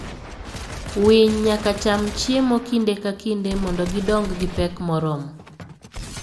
Winy nyaka cham chiemo kinde ka kinde mondo gidong gi pek moromo.